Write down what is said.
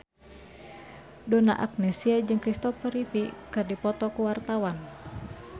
Donna Agnesia jeung Christopher Reeve keur dipoto ku wartawan